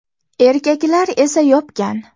Erkaklar esa yopgan.